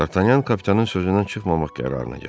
Dartanyan kapitanın sözündən çıxmamaq qərarına gəldi.